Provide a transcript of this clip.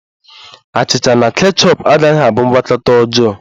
Achịcha na kechọp agaghi abụ ngwakọta ọjọọ